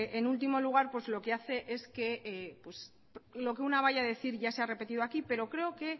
en último lugar pues lo que hace es que lo que una vaya a decir ya se ha repetido aquí pero creo que